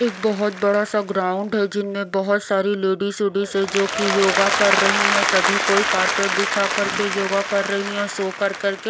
एक बहुत बड़ा सा ग्राउंड है जिनमें बहुत सारी लेडिस वेडिस है जो कि योगा कर रही हैं सभी कोई कारपेट बिछा करके योगा कर रही हैं सो कर कर करके।